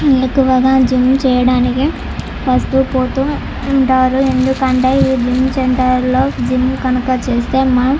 ఎక్కువగా జిమ్ చేయటానికి వాస్తు పోతు ఉంటారు ఎందుకంటే ఈ జిమ్ సెంటర్ లో జిమ్ కనుక చేస్తే--